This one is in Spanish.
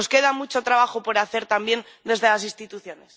Nos queda mucho trabajo por hacer también desde las instituciones.